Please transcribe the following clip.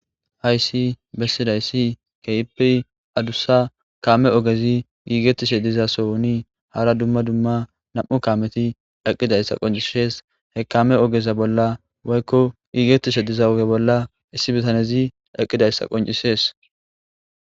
haysi bessidayssi kepiri adussa kaame ogezi giigettishe diza sowoni hara dumma dumma nam7u kaameti daqqidayssa qoncisees he kame ogeza bolla woykko giigettishe diza woge bolla issi bitanezi daqidayssa qoncisees